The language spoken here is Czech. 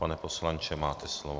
Pane poslanče, máte slovo.